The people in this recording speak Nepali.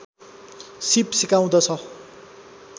सीप सिकाउँदछ